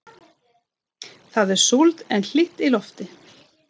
Það er súld en hlýtt í lofti.